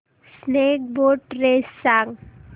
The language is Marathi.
स्नेक बोट रेस सांग